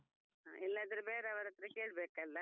ಇಲ್ಲಾದ್ರೆ ಬೇರೆಯವರತ್ರ ಕೇಳ್ಬೇಕಲ್ಲಾ.